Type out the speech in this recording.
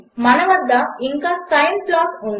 మన వద్ద ఇంకా సైన్ ప్లాట్ ఉంది